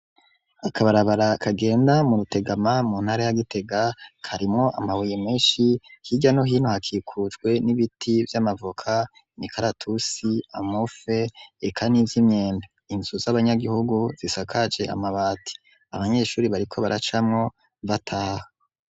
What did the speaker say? Akabarabara kagenda mu Rutegama mu ntara ya Gitega, karimwo amabuye menshi, hirya no hino hakikujwe n'ibiti vy'amavoka, inkaratusi amufe, eka nivy'imyembe, inzu z'abanyagihugu zisakaje amabati, abanyeshuri bariko baracamo bataha.